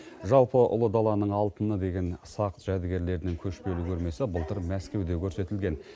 жалпы ұлы даланың алтыны деген сақ жәдігерлерінің көшпелі көрмесі былтыр мәскеуде көрсетілген